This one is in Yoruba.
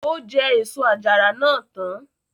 Ó jẹ èso àjàrà náà tán.